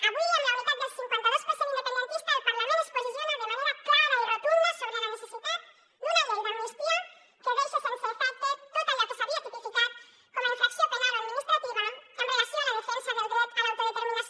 avui amb la unitat del cinquanta dos per cent independentista el parlament es posiciona de manera clara i rotunda sobre la necessitat d’una llei d’amnistia que deixa sense efecte tot allò que s’havia tipificat com a infracció penal o administrativa amb relació a la defensa del dret a l’autodeterminació